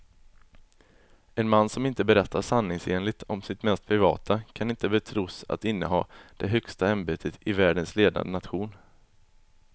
En man som inte berättar sanningsenligt om sitt mest privata kan inte betros att inneha det högsta ämbetet i världens ledande nation.